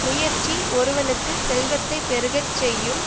முயற்சி ஒருவனுக்கு செல்வத்தை பெருகச் செய்யும்